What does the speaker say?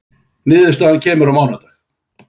Niðurstaða á mánudag